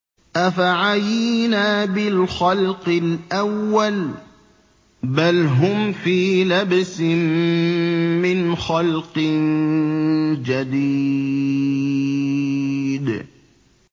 أَفَعَيِينَا بِالْخَلْقِ الْأَوَّلِ ۚ بَلْ هُمْ فِي لَبْسٍ مِّنْ خَلْقٍ جَدِيدٍ